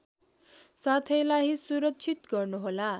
साथैलाई सुरक्षित गर्नुहोला